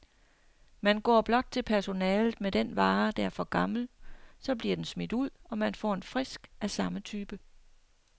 Man går blot til personalet med den vare, der er for gammel, så bliver den smidt ud, og man får en frisk af samme type.